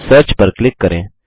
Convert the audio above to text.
search पर click करें